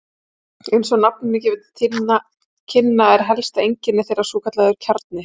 Eins og nafnið gefur til kynna er helsta einkenni þeirra svokallaður kjarni.